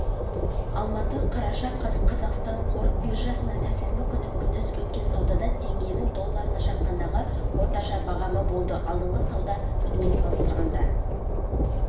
алматы қараша қаз қазақстан қор биржасында сәрсенбі күні күндіз өткен саудада теңгенің долларына шаққандағы орташа бағамы болды алдыңғы сауда күнімен салыстырғанда